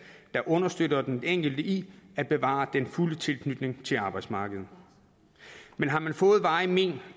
der understøtter den enkelte i at bevare den fulde tilknytning til arbejdsmarkedet men har man fået varigt men